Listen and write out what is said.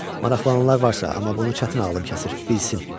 Maraqlananlar varsa, amma bunu çətin ağlım kəsir, bilsin.